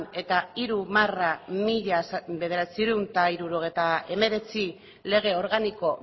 eta hiru barra mila bederatziehun eta hirurogeita hemeretzi lege organiko